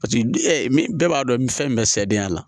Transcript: Paseke min bɛɛ b'a dɔn fɛn min bɛ sɛdenya la